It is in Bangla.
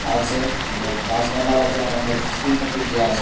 আছে অনেক গাছ পাতার আছে আর অনেক দেওয়া আছে ।